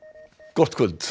gott kvöld